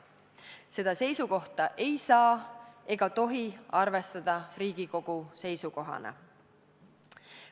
Seda seisukohta ei saa ega tohi arvestada Riigikogu seisukohana.